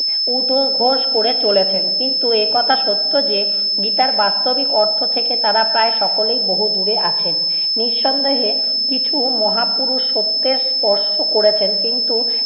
উদ্ঘোষ করে চলেছেন। কিন্তু একথা সত্য যে গীতার বাস্তবিক অর্থ থেকে তারা প্রায় সকলেই বহু দূরে আছেন। নিঃসন্দেহে কিছু মহাপুরুষ সত্যের স্পর্শ করেছেন, কিন্তু